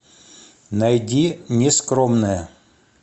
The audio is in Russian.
найди нескромная